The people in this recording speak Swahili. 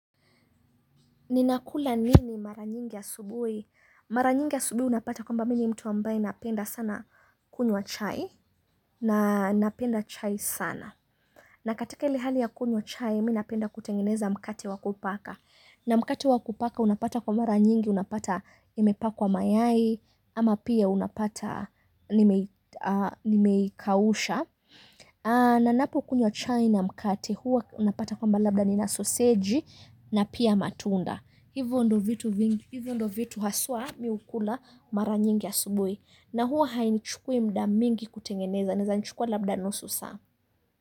Ninakula nini mara nyingi asubuhi. Mara nyingi asubuhi unapata kwamba mi ni mtu ambaye napenda sana kunywa chai. Na napenda chai sana. Na katika ile hali ya kunywa chai mi napenda kutengeneza mkate wa kupaka. Na mkate wa kupaka unapata kwa mara nyingi unapata imepakwa mayai ama pia unapata nimeikausha. Na napokunywa chai na mkate huwa unapata kwamba labda nina sausage na pia matunda. Hivyo ndo vitu haswa mi hukula mara nyingi asubuhi. Na huwa hainichukui muda mingi kutengeneza naezanichukua labda nusu saa.